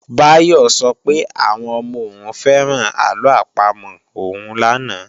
Báyọ̀ sọ pé àwọn ọmọ òun fẹ́ràn àlọ àpamọ̀ òun lánàá